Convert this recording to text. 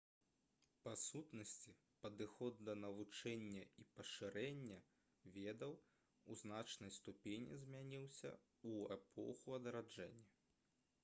па сутнасці падыход да навучання і пашырэння ведаў у значнай ступені змяніўся ў эпоху адраджэння